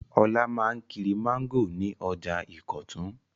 Olá máa ń kiri mángòrò ní ọjà Ìkọ̀tún.